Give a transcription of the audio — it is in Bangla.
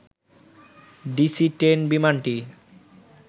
ডিসি টেন বিমানটি